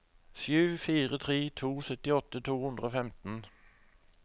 sju fire tre to syttiåtte to hundre og femten